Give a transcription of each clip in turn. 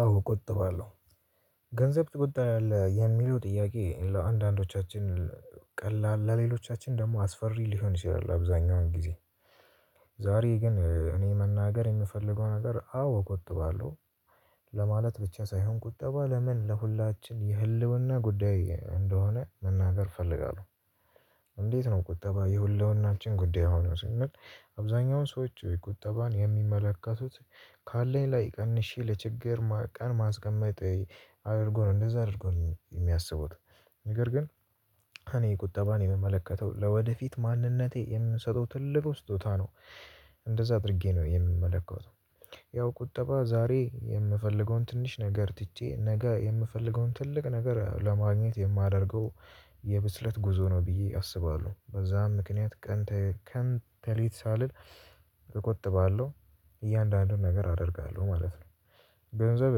አዎ ቆጥባለው። ገንዘብ ትቆጥባለህ የሚለው ጥያቄ ለአንዳንዶቻችን ቀላል ለሌሎቻችን ደግሞ አስፈሪ ሊሆን ይችላል አብዛኛውን ጊዜ ዛሬ ግን እኔ መናገር የምፈልገው ነገር አዎ እቆጥባለሁ ለማለት ብቻ ሳይሆን ቁጠባ ለምን ለሁላችን የህልውና ጉዳይ እንደሆነ መናገር እፈልጋለሁ። እንዴት ነው ቁጠባ የህልውናችን ጉዳይ የሆነው ስንል አብዛኛውን ሰዎች ቁጠባን የሚመለከቱት ካለኝ ላይ ቀንሼ ለችግር ቀን ማስቀመጥ አድርጎ ነው እንደዛ አድርጎ ነው የሚያስቡት። ነገር ግን እኔ ቁጠባን የምመለከተው ለወደፊት ማንነቴ የምሰጠው ትልቁ ስጦታ ነው እንደዛ አድርጌ ነው የምመለከተው። ያው ቁጠባ ዛሬ የምፈልገውን ትንሽ ነገር ትቼ ነገ የምፈልገውን ትልቅ ነገር ለማግኘት የማደርገው የብስለት ጉዞ ነው ብዬ አስባለሁ። በዛም ምክንያት ቀን ከን ተሌት ሳልል እቆጥባለሁ እያንዳንዱን ነገር አደርጋለሁ ማለት ነው። ገንዘብ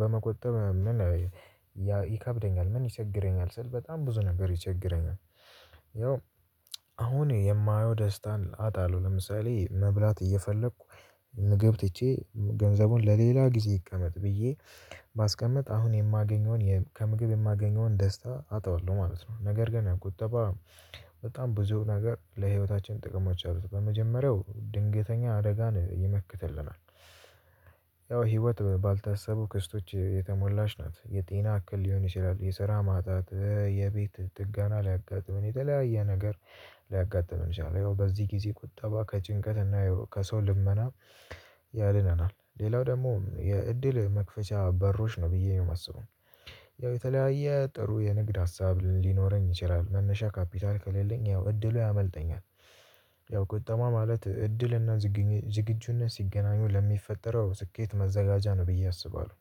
በመቆጠብ ምን ይከብደኛል ምን ይቸግረኛል ስል በጣም ብዙ ነገር ይቸግረኛል። ያው አሁን የማየው ደስታን አጣለሁ። ለምሳሌ መብላት እየፈለኩ ምግብ ትቼ ገንዘቡን ለሌላ ጊዜ ይቀመጥ ብዬ ባስቀምጥ አሁን የማገኘውን የ ከምግብ የማገኘውን ደስታ አጣዋለሁ ማለት ነው፤ ነገር ግን ቁጠባ በጣም ብዙ ነገር ለህይወታችን ጥቅሞች አሉት። በመጀመሪያው ድንገተኛ አደጋን ይመክትልናል። ያው ህይወት ባልታሰቡ ክስተቶች የተሞላች ናት። የጤና አክል ሊሆን ይችላል፣ የስራ ማጣት፣ የቤት ጥገና ሊያጋጥመን የተለያየ ነገር ሊያጋጥመን ይችላል። ያው በዚህ ጊዜ ቁጠባ ከጭንቀትና ከሰው ልመና ያድነናል። ሌላው ደግሞ የእድል መክፈቻ በሮች ነው ብዬ ነው የማስበው። ያው የተለያየ ጥሩ የንግድ ሀሳብ ሊኖረኝ ይችላል መነሻ ካፒታል ከሌለኝ ያው እድሉ ያመልጠኛል። ያው ቁጠባ ማለት እድልና ዝግኙ ዝግጁነት ሲገናኙ ለሚፈጠረው ስኬት መዘጋጃ ነው ብዬ አስባለሁ።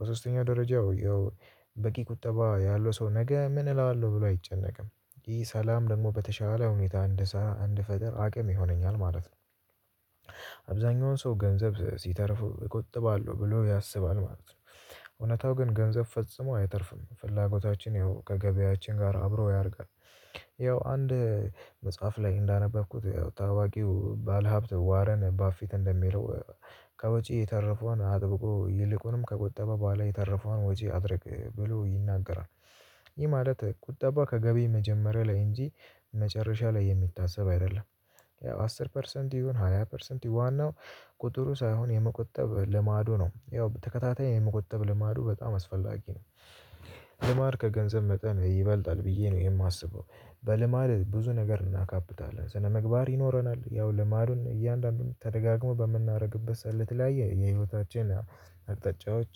በሶስተኛ ደረጃው ያው በቂ ቁጠባ ያለው ሰው ነገ ምን እላለሁ ብሎ አይጨነቅም። ይህ ሰላም ደግሞ በተሻለ ሁኔታ እንዲሰራ እንዲፈጠር አቅም ይሆነኛል ማለት ነው። አብዛኛውን ሰው ገንዘብ ሲተርፈው እቆጥባለሁ ብሎ ያስባል ማለት ነው። እውነታው ግን ገንዘብ ፈጽሞ አይተርፍም። ፍላጎታችን ያው ከገቢያችን ጋር አብሮ ያደርጋል። ያው አንድ መጽሐፍ ላይ እንዳነበብኩት ታዋቂው ባለሀብት ዋረን ባፊት እንደሚለው ከወጪ የተረፈውን አጥብቆ ይልቁንም ከቆጠበ በኋላ የተረፈውን ወጪ አድርግ ብሎ ይናገራል። ይህ ማለት ቁጠባ ከገቢ መጀመሪያ ላይ እንጂ መጨረሻ ላይ የሚታሰብ አይደለም። አስር ፐርሰንት ይሁን ሃያ ፐርሰንት ይሁን ዋናው ቁጥሩ ሳይሆን የመቆጠብ ልማዱ ነው። ያው በተከታታይ የመቆጠብ ልማዱ በጣም አስፈላጊ ነው። ልማድ ከገንዘብ መጠን ይበልጣል ብዬ ነው የማስበው። በልማድ ብዙ ነገር እናካብታለን ስነምግባር ይኖረናል፣ ያው ልማዱን እያንዳንዱን ተደጋግሞ በምናደርግበት ሰዓት ለትላያየ የህይወታችን አቅጣጫዎች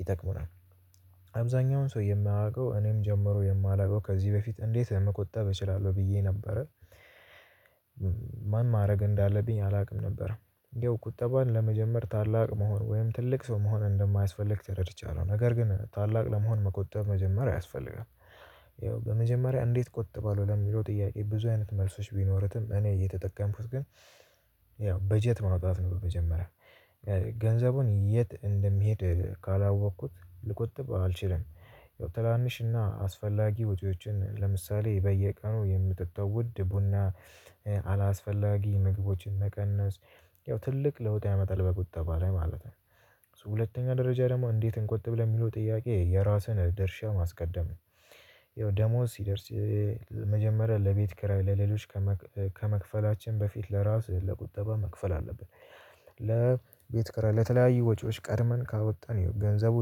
ይጠቅሙናል። አብዛኛውን ሰው የማያውቀው እኔን ጨምሮ የማላውቀው ከዚህ በፊት እንዴት መቆጣብ እችላለሁ ብዬ ነበረ፤ ምን ማድረግ እንዳለብኝ አላውቅም ነበረ። ያው ቁጠባን ለመጀመር ታላቅ መሆን ወይም ትልቅ ሰው መሆን እንደማያስፈልግ ተረድቻለሁ፤ ነገር ግን ታላቅ ለመሆን መቆጠብ መጀመር ያስፈልጋል። ያው በመጀመሪያ እንዴት ቆጥ ባለው ለሚለው ጥያቄ ብዙ አይነት መልሶች ቢኖሩትም እኔ የተጠቀምኩት ግን ያው በጀት ማውጣት ነው በመጀመሪያ ገንዘቡን የት እንደሚሄድ ካላወቅኩት ልቆጥብ አልችልም። ያው ትናንሽና አስፈላጊ ወጪዎችን ለምሳሌ በየቀኑ የምጠጣው ውድ ቡና፣ አላስፈላጊ ምግቦችን መቀነስ ያው ትልቅ ለውጥ ያመጣል በቁጠባ ላይ ማለት ነው። ሁለተኛ ደረጃ ደግሞ "እንዴት እንቆጥ?" ለሚለው ጥያቄ የራስን ደርሻ ማስቀደም ነው። ያው ደሞዝ ሲደርስ መጀመሪያ ለቤት ኪራይ ለሌሎች ከመክ ከመክፈላችን በፊት ለራስ ለቁጠባ መክፈል አለብን። ለቤት ክራይ ለተለያዩ ወጪዎች ቀድመን ካወጣን ገንዘቡ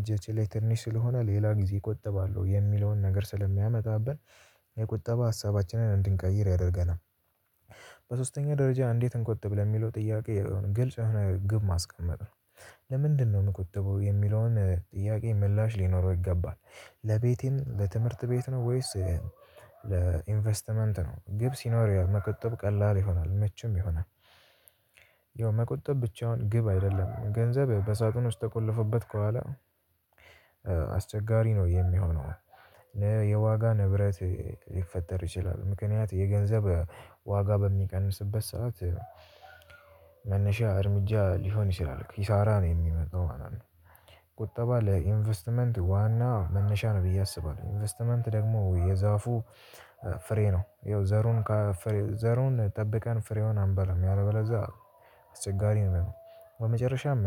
እጃችን ላይ ትንሽ ስለሆነ ሌላ ጊዜ እቆጥባለሁ የሚለውን ነገር ስለሚያመጣብን የቁጠባ ሀሳባችንን እንድንቀይር ያደርገናል። በሶስተኛ ደረጃ "እንዴት እንቆጥብ?" ለሚለው ጥያቄ ግልጽ የሆነ ግብ ማስቀመጥ ነው። "ለምንድነው የምቆጥበው?" የሚለውን ጥያቄ ምላሽ ሊኖረው ይገባል። ለቤቴም ለትምህርት ቤት ነው ወይስ ለኢንቨስትመንት ነው ግብ ሲኖር መቆጠብ ቀላል ይሆናል መቼም ይሆናል። ያው መቆጠብ ብቻውን ግብ አይደለም ገንዘብ በሳጥን ውስጥ ተቆልፎበት ከዋላ አስቸጋሪ ነው የሚሆነው የዋጋ ንብረት ሊፈጠር ይችላል። ምክንያት የገንዘብ ዋጋ በሚቀንስበት ሰዓት መነሻ እርምጃ ሊሆን ይችላል ኪሳራ ነው የሚመጣው ማለት ነው። ቁጠባ ለኢንቨስትመንት ዋና መነሻ ነው ብዬ አስባለሁ። ኢንቨስትመንት ደግሞ የዛፉ ፍሬ ነው ያው ዘሩን ካፍ ዘሩን ጠብቀን ፍሬውን አንበላም ያለበለዛ አስቸጋሪ ነው የሚሆነው። በመጨረሻም